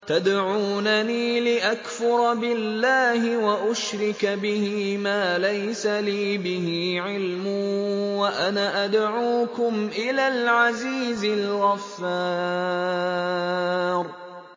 تَدْعُونَنِي لِأَكْفُرَ بِاللَّهِ وَأُشْرِكَ بِهِ مَا لَيْسَ لِي بِهِ عِلْمٌ وَأَنَا أَدْعُوكُمْ إِلَى الْعَزِيزِ الْغَفَّارِ